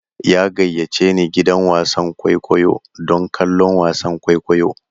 Ya gayyace ni gidan wasan kwaikwayo don kallon wasan kwaikwayo.